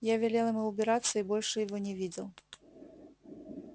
я велел ему убираться и больше его не видел